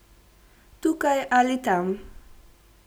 Tukaj ali tam.